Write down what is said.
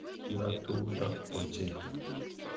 Yo tumdo ochei.